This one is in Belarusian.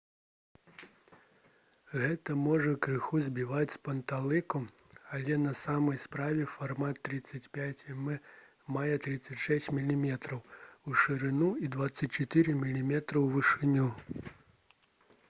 гэта можа крыху збіваць з панталыку але на самой справе фармат 35 мм мае 36 мм у шырыню і 24 мм у вышыню